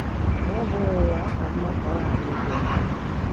Ma ọ́ bụghị ya, ọ ka mma ka ọ ghara ikwe nkwa.